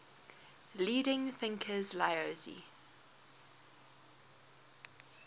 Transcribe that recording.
leading thinkers laozi